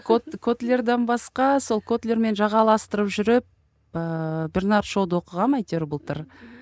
котлерден басқа сол котлермен жағаластырып жүріп ыыы бернард шоуды оқығанмын әйтеуір былтыр